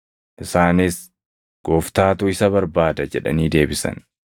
Isaanis, “Gooftaatu isa barbaada” jedhanii deebisan.